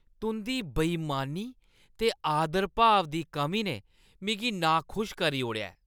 तुंʼदी बेईमानी ते आदरभाव दी कमी ने मिगी नाखुश करी ओड़ेआ ऐ।